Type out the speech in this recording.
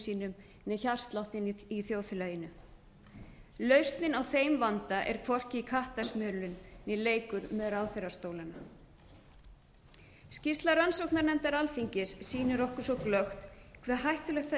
sínum né hjartsláttinn í þjóðfélaginu lausnin á þeim vanda er hvorki kattasmölun né leikur með ráðherrastólana skýrsla rannsóknarnefndar alþingis sýnir okkur svo glöggt hve hættulegt það